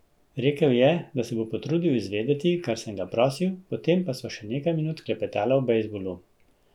Rekel je, da se bo potrudil izvedeti, kar sem ga prosil, potem pa sva še nekaj minut klepetala o bejzbolu.